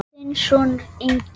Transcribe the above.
Þinn sonur, Ingi.